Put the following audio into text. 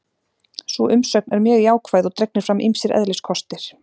Sú umsögn er mjög jákvæð og dregnir fram ýmsir eðliskostir.